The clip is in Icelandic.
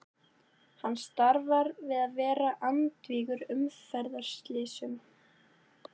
Hann starfar við að vera andvígur umferðarslysum.